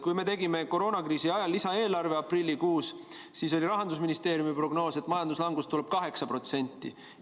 Kui me tegime koroonakriisi ajal aprillikuus lisaeelarve, siis oli Rahandusministeeriumi prognoos, et majanduslangus tuleb 8%.